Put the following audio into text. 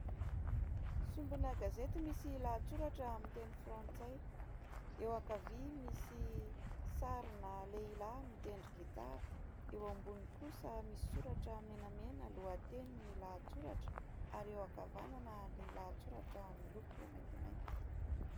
Sombina gazety misy lahatsoratra amin'ny teny frantsay. Eo ankavia misy sarina lehilahy mitendry gitara. Eo ambony kosa misy soratra menamena lohateny ny lahatsoratra ary eo ankavanana ny lahatsoratra miloko maintimainty.